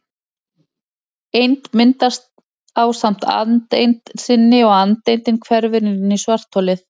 Eind myndast ásamt andeind sinni og andeindin hverfur inn í svartholið.